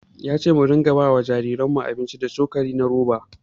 Ya ce mu rika ba wa jariranmu abinci da cokali na roba.